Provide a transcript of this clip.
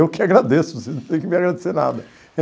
Eu que agradeço, vocês não tem que me agradecer nada.